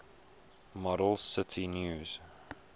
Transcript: model cite news